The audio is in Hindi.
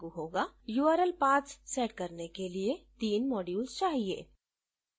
url paths सेट करने के लिए तीन modules चाहिए